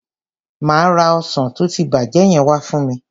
Má ra ọsàn tó ti bàjẹ́ yẹn wa fún mi.